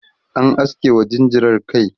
an aske wa jinjirar kai